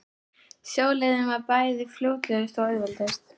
Sjóleiðin var bæði fljótlegust og auðveldust.